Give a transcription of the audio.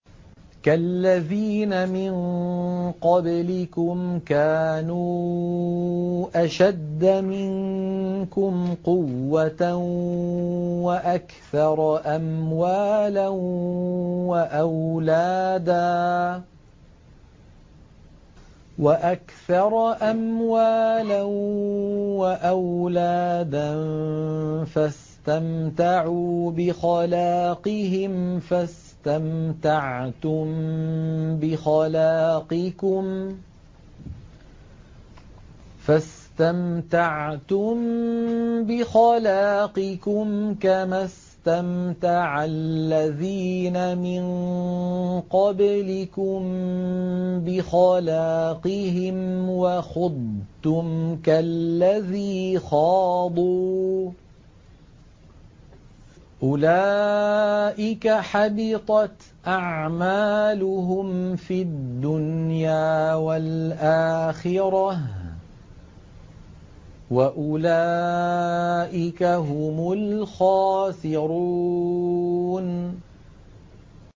كَالَّذِينَ مِن قَبْلِكُمْ كَانُوا أَشَدَّ مِنكُمْ قُوَّةً وَأَكْثَرَ أَمْوَالًا وَأَوْلَادًا فَاسْتَمْتَعُوا بِخَلَاقِهِمْ فَاسْتَمْتَعْتُم بِخَلَاقِكُمْ كَمَا اسْتَمْتَعَ الَّذِينَ مِن قَبْلِكُم بِخَلَاقِهِمْ وَخُضْتُمْ كَالَّذِي خَاضُوا ۚ أُولَٰئِكَ حَبِطَتْ أَعْمَالُهُمْ فِي الدُّنْيَا وَالْآخِرَةِ ۖ وَأُولَٰئِكَ هُمُ الْخَاسِرُونَ